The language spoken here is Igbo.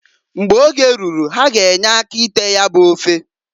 Mgbe oge ruru ha g' enye aka ite ya bụ ofe.